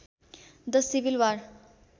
the civil war